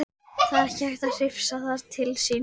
Það var ekki hægt að hrifsa það til sín.